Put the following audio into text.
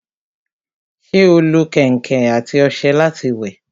ṣé ó lo kẹ̀ǹkẹ̀ àti ọṣẹ láti wẹ̀?